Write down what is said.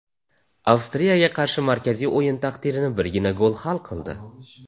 Avstriyaga qarshi markaziy o‘yin taqdirini birgina gol hal qildi.